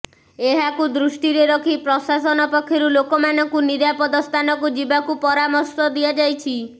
ଏହାକୁ ଦୃଷ୍ଟିରେ ରଖି ପ୍ରଶାସନ ପକ୍ଷରୁ ଲୋକମାନଙ୍କୁ ନିରାପଦ ସ୍ଥାନକୁ ଯିବାକୁ ପରାମର୍ଶ ଦିଆଯାଇଛି